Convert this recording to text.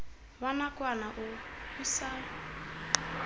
wa nakwana o o sa